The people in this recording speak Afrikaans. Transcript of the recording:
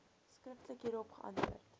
skriftelik hierop geantwoord